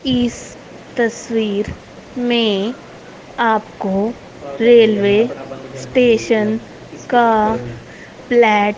इस तस्वीर में आप को रेल्वे स्टेशन का प्लैट --